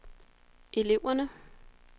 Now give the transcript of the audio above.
eleverne